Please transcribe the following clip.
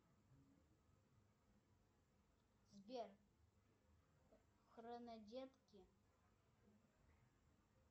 сбер хронодетки